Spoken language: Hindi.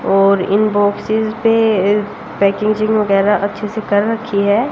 और इन बॉक्सेस पे इस पैकेजिंग वेगैरा अच्छे से कर रखी है।